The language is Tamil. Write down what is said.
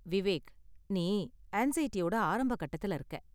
விவேக், நீ ஆன்ஸைடியோட ஆரம்பக் கட்டத்துல இருக்க.